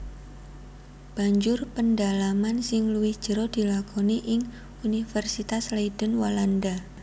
Banjur pendalaman sing luwih jero dilakoni ing Universitas Leiden Walanda